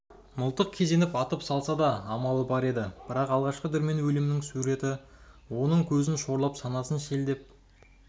мылтық кезеніп атып салса да амалы бар еді бірақ алғашқы дүрмен өлімінің суреті оның көзін шорлап санасын шелдеп